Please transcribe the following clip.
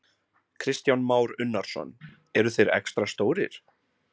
Kristján Már Unnarsson: Eru þeir extra stórir?